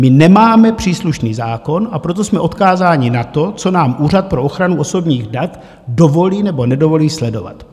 My nemáme příslušný zákon, a proto jsme odkázáni na to, co nám úřad pro ochranu osobních dat dovolí nebo nedovolí sledovat.